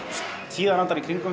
tíðarandann